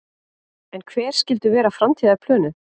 En hver skyldu vera framtíðarplönin?